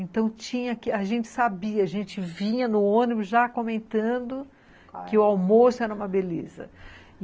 Então tinha que... a gente sabia, a gente vinha no ônibus já comentando que o almoço era uma beleza.